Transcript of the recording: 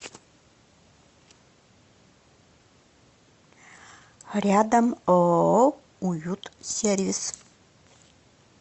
рядом ооо уют сервис